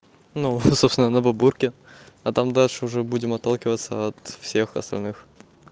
ну собственно на бабурке а там дальше уже будем отталкиваться от всех остальных